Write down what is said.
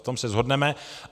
V tom se shodneme.